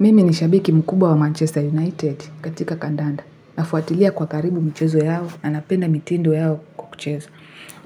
Mimi ni shabiki mkubwa wa Manchester United katika kandanda. Nafuatilia kwa karibu mchezo yao na napenda mitindo yao ya kucheza.